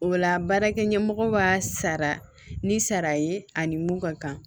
O la baarakɛ ɲɛmɔgɔ b'a sara ni sara ye ani mun ka kan